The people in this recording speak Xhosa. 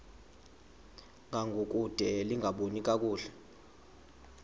ngangokude lingaboni kakuhle